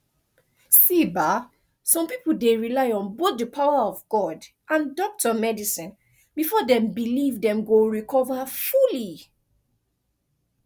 see ba some people dey rely on both di power of god and doctor medicine before dem believe dem go recover fully